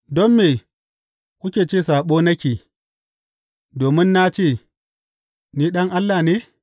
Don me kuke ce saɓo nake, domin na ce, Ni Ɗan Allah ne?’